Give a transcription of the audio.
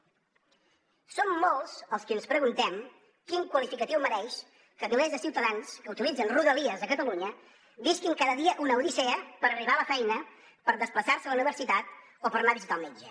som molts els qui ens preguntem quin qualificatiu mereix que milers de ciutadans que utilitzen rodalies a catalunya visquin cada dia una odissea per arribar a la feina per desplaçar se a la universitat o per anar a visitar el metge